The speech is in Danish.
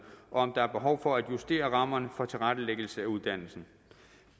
om der er behov for at justere rammerne for tilrettelæggelse af uddannelsen